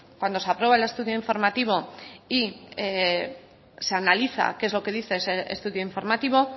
cuando se aprueba el estudio informativo y se analiza qué es lo que dice ese estudio informativo